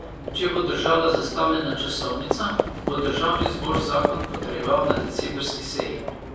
Če bo držala zastavljena časovnica, bo državni zbor zakon potrjeval na decembrski seji.